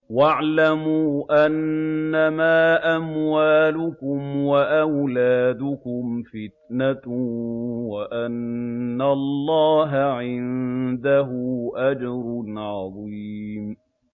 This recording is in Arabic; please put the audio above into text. وَاعْلَمُوا أَنَّمَا أَمْوَالُكُمْ وَأَوْلَادُكُمْ فِتْنَةٌ وَأَنَّ اللَّهَ عِندَهُ أَجْرٌ عَظِيمٌ